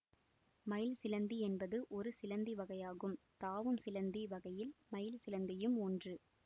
மயில் சிலந்தி என்பது ஒரு சிலந்தி வகையாகும் தாவும் சிலந்தி வகையில் மயில் சிலந்தியும் ஒன்று